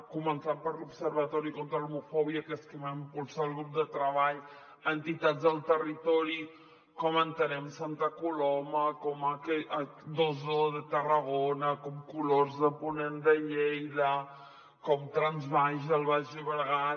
començant per l’observatori contra l’homofòbia que és qui va impulsar el grup de treball a entitats del territori com entenem santa coloma com hcom colors de ponent de lleida com transbaix al baix llobregat